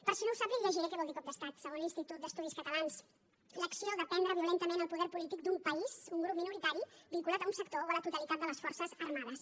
per si no ho sap li llegiré què vol dir cop d’estat segons l’institut d’estudis catalans l’acció de prendre violentament el poder polític d’un país un grup minoritari vinculat a un sector o a la totalitat de les forces armades